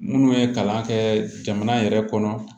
Minnu ye kalan kɛ jamana yɛrɛ kɔnɔ